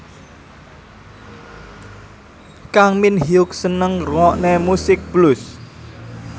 Kang Min Hyuk seneng ngrungokne musik blues